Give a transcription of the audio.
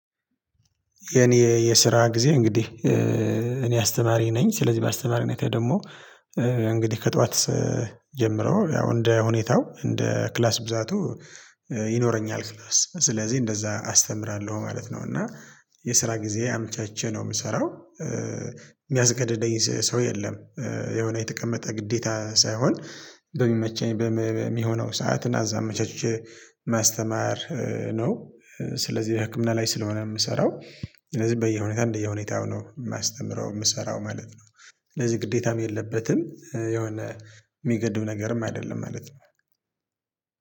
የኔ የስራ ጊዜ እንግዲህ እኔ አስተማሪ ነኝ ስለዚህ በአስተማሪነቴ ደግሞ እንግዲህ ከጠዋት ጀምረው ያው እንደ ሁኔታው እንደ ክላስ ብዛቱ ይኖረኛል ክላስ ስለዚህ እንደዛ አስተምራለሁ ማለት ነው እና የስራ ጊዜ አመቻችቼ ነው ምሰራው ሚያስገድደኝ ሰው የለም የሆነ የተቀመጠ ግዴታ ሳይሆን በሚመቸኝ በሚሆነው ሰዓት እና እዛ አመቻችቼ ማስተማር ነው። ስለዚህ በህክምና ላይ ስለሆነ ምሰራው ስለዚህ በየሁኔታ እንደየሁኔታው ነው ማስተምረው፤ ምሰራው ማለት ነው። ስለዚህ ግዴታም የለበትም፤ የሆነ ሚገድብ ነገርም አደለም ማለት ነው።